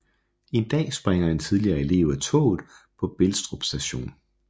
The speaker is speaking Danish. En dag springer en tidligere elev af toget på Belstrup Station